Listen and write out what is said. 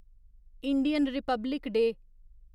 Indian republic day